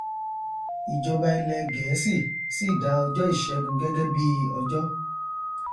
ìjọba ilẹ gẹẹsì sì dá ọjọ ìṣẹgun gẹgẹ bíi ọjọ